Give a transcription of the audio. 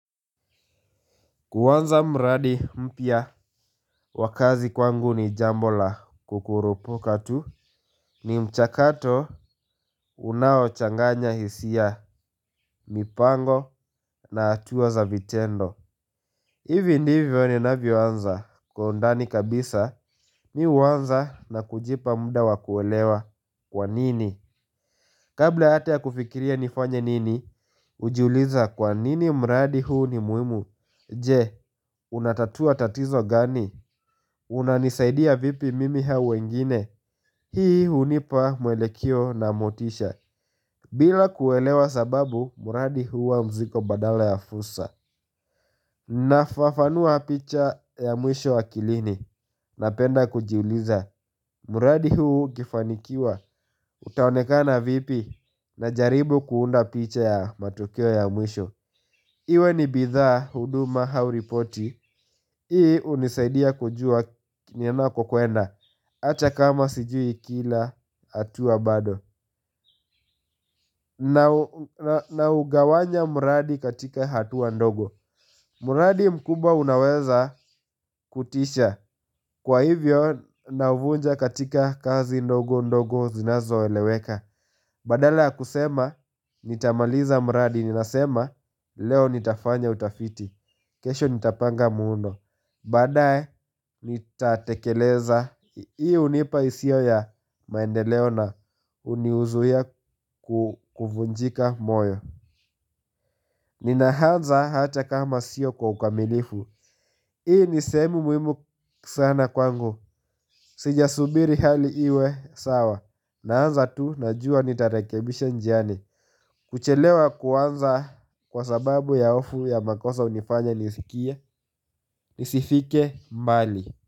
Kuuanza mradi mpya wa kazi kwangu ni jambo la kukurupuka tu ni mchakato unaochanganya hisia mipango na atuwa za vitendo. Ivi ndivyo ni navyo anza kwa undani kabisa mi uwanza na kujipa muda wakuolewa kwa nini. Kabla ata ya kufikiria nifanye nini hujiuliza kwa nini mradi huu ni muimu. Je, unatatua tatizo gani? Unanisaidia vipi mimi hau wengine? Hii hunipa mwelekeo na motisha. Bila kuelewa sababu, muradi huwa mzigo badala ya fulsa. Nafafanua picha ya mwisho akilini. Napenda kujiuliza. Mradi huu ukifanikiwa. Utaonekana vipi na jaribu kuunda picha ya matokeo ya mwisho. Iwe ni bidhaa huduma hau ripoti ii unisaidia kujua nina kokuenda. Acha kama sijui kila hatua bado na ugawanya mradi katika hatua ndogo. Muradi mkubwa unaweza kutisha. Kwa hivyo navunja katika kazi ndogo ndogo zinazo eleweka. Badala ya kusema nitamaliza muradi. Ninasema leo nitafanya utafiti. Kesho nitapanga muundo. Baadae nitatekeleza ii hunipa hisia ya maendeleo na hunizuia kuvunjika moyo nina haanza ata kama sio kwa ukamilifu. Hii ni seemu muimu sana kwangu. Sijasubiri hali iwe sawa. Naanza tu najua nitarekebisha njiani. Kuchelewa kuanza kwa sababu ya hofu ya makosa unifanya nisikie nisifike mbali.